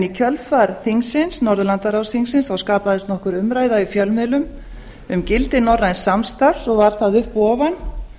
í kjölfar norðurlandaráðs þingsins skapaðist nokkur umræða í fjölmiðlum um gildi norræns samstarfs og var það upp og ofan